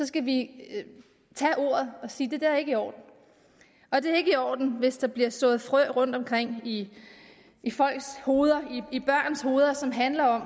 skal vi tage ordet og sige det der er ikke i orden og det er ikke i orden hvis der bliver sået frø i folks hoveder i børns hoveder som handler om